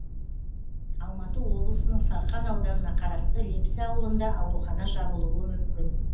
алматы облысының сарқан ауданына қарасты лепсі ауылында аурухана жабылуы мүмкін